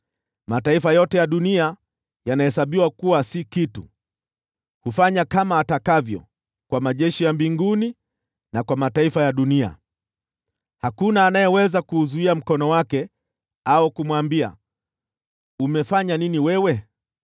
Mataifa yote ya dunia yanahesabiwa kuwa si kitu. Hufanya kama atakavyo kwa majeshi ya mbinguni, na kwa mataifa ya dunia. Hakuna anayeweza kuuzuia mkono wake au kumwambia, “Umefanya nini wewe?”